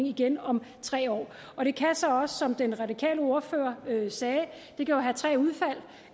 igen om tre år det kan så også som den radikale ordfører sagde